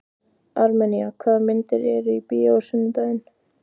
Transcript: Armenía, hvaða myndir eru í bíó á sunnudaginn?